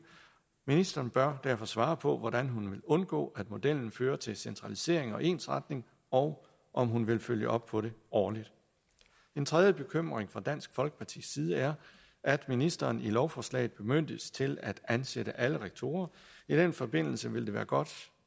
ministeren bør derfor svare på hvordan hun vil undgå at modellen fører til centralisering og ensretning og om hun vil følge op på det årligt en tredje bekymring fra dansk folkepartis side er at ministeren i lovforslaget bemyndiges til at ansætte alle rektorer i den forbindelse ville det være godt